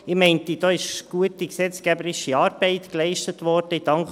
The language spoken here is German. Ich bin der Meinung, da sei gute gesetzgeberische Arbeit geleistet worden.